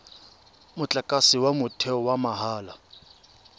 motlakase wa motheo wa mahala